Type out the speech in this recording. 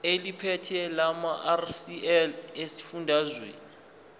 eliphethe lamarcl esifundazwe